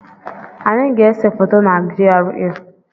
Anyị ga-ese foto na GRA.